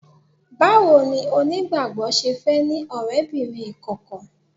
Báwo ni onígbàgbọ́ ṣe fẹ́ ní ọ̀rẹ́bìnrin ìkọ̀kọ̀?